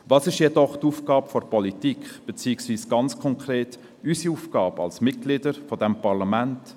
Was ist jedoch die Aufgabe der Politik, beziehungsweise, ganz konkret, unsere Aufgabe als Mitglieder dieses Parlaments?